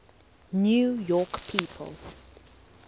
new york people